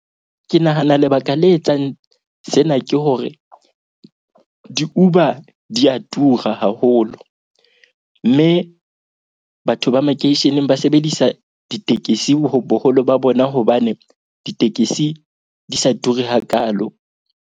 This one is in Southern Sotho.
Ke nahana lebaka le etsang sena ke hore di-Uber di ya tura haholo. Mme batho ba makeisheneng ba sebedisa ditekesi ho boholo ba bona, hobane ditekesi di sa ture hakaalo.